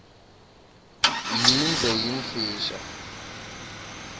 yindze yimfisha